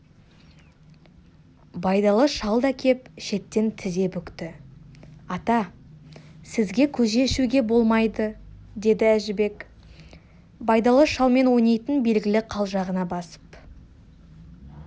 байдалы шал да кеп шеттен тізе бүкті ата сізге көже ішуге болмайды деді әжібек байдалы шалмен ойнайтын белгілі қалжағына басып